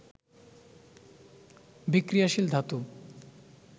বিক্রিয়াশীল ধাতু